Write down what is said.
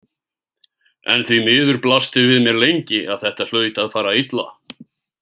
En því miður blasti við mér lengi að þetta hlaut að fara illa.